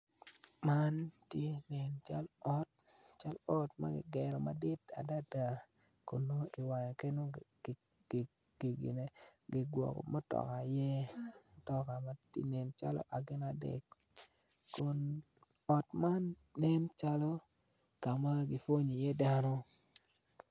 Man eni cal ot cal ot ma kigero madit adada kun ngo kigwoko mutoka iye mutoka ma tye gin adek kun ot man nencalo ka ma kipwonyo iye dano.